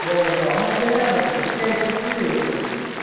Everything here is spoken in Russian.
я иду она такая радостная такая счастливая короче